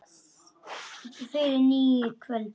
Fyrir nýrri öld!